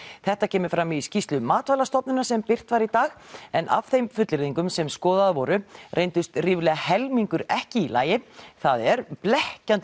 þetta kemur fram í skýrslu Matvælastofnunar sem birt var í dag en af þeim fullyrðingum sem skoðaðar voru reyndust ríflega helmingur ekki í lagi það er blekkjandi